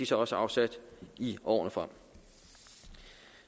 så også afsat i årene frem